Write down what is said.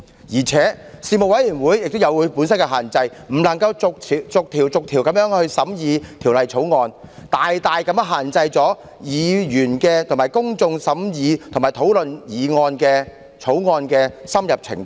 再者，事務委員會亦有其限制，不能逐項審議法案的內容，因此大大限制了議員審議及公眾討論法案的深入程度。